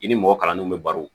I ni mɔgɔ kalannenw bɛ baro